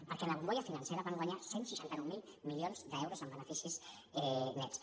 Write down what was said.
perquè en la bombolla financera van guanyar cent i seixanta nou mil milions d’euros en beneficis nets